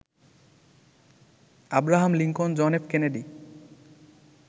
Abraham Lincoln, John F Kennedy